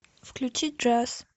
включи джаз